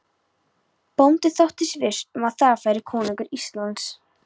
Bóndi þóttist viss um að þar færi konungur Íslands.